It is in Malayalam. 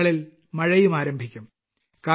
ചിലയിടങ്ങളിൽ മഴയും ആരംഭിയ്ക്കും